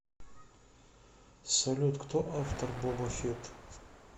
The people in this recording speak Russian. салют кто автор боба фетт